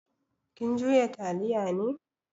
Kin juya taliya ne?